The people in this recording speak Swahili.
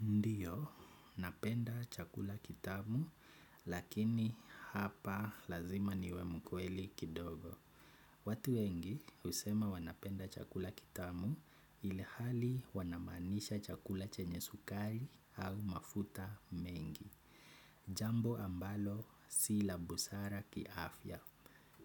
Ndiyo napenda chakula kitamu lakini hapa lazima niwe mkweli kidogo. Watu wengi usema wanapenda chakula kitamu ili hali wanamaanisha chakula chenye sukari au mafuta mengi. Jambo ambalo si la busara kiafya.